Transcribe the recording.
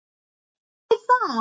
Og þú þarft að hugsa.